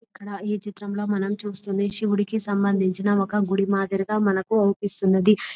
ఇక్కడ ఈ చిత్రంలో మనం చూస్తూ ఉంటే శివుడికి సంబంధించిన ఒక గుడి మాదిరిగా మనకు అనిపిస్తుంది.